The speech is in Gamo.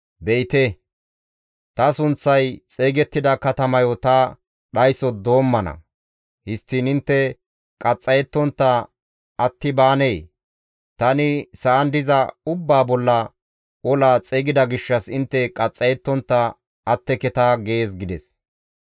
Be7ite; ta sunththay xeygettida katamayo ta dhayso doommana; histtiin intte qaxxayettontta atti baanee? Tani sa7an diza ubbaa bolla ola xeygida gishshas intte qaxxayettontta atteketa› gees» gides.